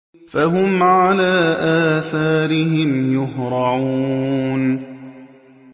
فَهُمْ عَلَىٰ آثَارِهِمْ يُهْرَعُونَ